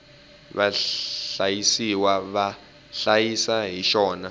vahlayisiwa va hlayisa hi xona